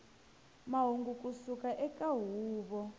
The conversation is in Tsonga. mahungu ku suka eka huvo